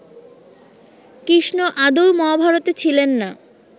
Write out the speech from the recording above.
কৃষ্ণ আদৌ মহাভারতে ছিলেন না